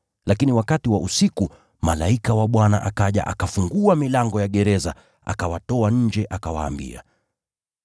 Lakini wakati wa usiku, malaika wa Bwana akaja, akafungua milango ya gereza na akawatoa nje. Akawaambia,